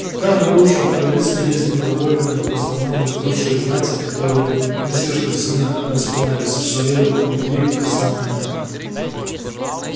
в каждом бывшем королевстве есть недовольные в основном из бывшей знати которые не слишком сильно распинались в своей любви к основанию